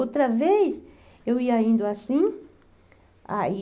Outra vez, eu ia indo assim, aí...